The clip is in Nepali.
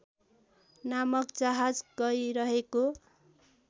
नामक जहाज गइरहेको